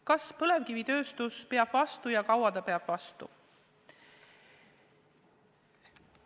Kas põlevkivitööstus peab vastu ja kaua ta peab vastu?